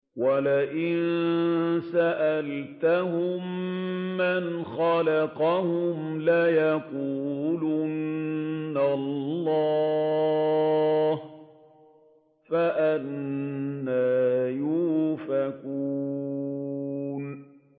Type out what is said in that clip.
وَلَئِن سَأَلْتَهُم مَّنْ خَلَقَهُمْ لَيَقُولُنَّ اللَّهُ ۖ فَأَنَّىٰ يُؤْفَكُونَ